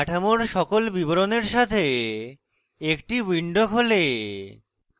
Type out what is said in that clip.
কাঠামোর সকল বিবরণের সাথে একটি window খোলে